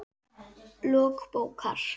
Lok bókar